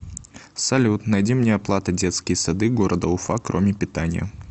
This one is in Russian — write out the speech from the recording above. салют найди мне оплата детские сады города уфа кроме питания